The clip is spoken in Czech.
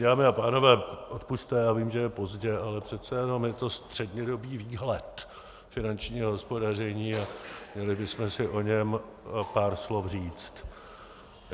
Dámy a pánové, odpusťte, já vím, že je pozdě, ale přece jenom je to střednědobý výhled finančního hospodaření a měli bychom si o něm pár slov říct.